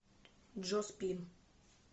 джо спин